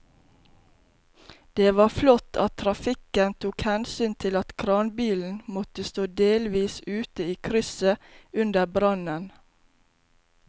Det var flott at trafikken tok hensyn til at kranbilen måtte stå delvis ute i krysset under brannen.